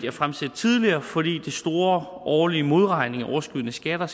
at fremsætte tidligere fordi de store årlige modregninger af overskydende skatter